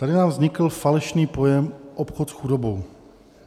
Tady nám vznikl falešný pojem obchod s chudobou.